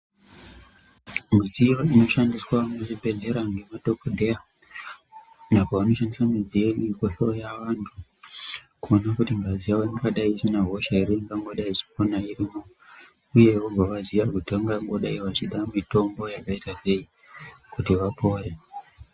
Midziyo inoshandiswa muzvibhedhlera ngemadhokodheya apo vanoshandisa midziyo iyi kuhloya vantu kuona kuti ngazi yavo ingadai isina hosha ere ingangodai ichipona irimo uye vobva vaziya kuti vangongodai vachida mitombo yakaitasei kuti vapore.